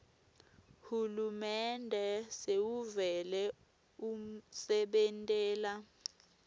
hulumende sewuvele usebentela